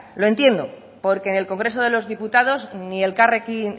lo entiendo porque en el congreso de los diputados